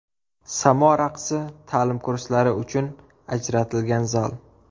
Samo raqsi ta’lim kurslari uchun ajratilgan zal.